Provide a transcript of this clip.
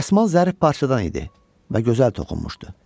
Dəsmal zərif parçadan idi və gözəl toxunmuşdu.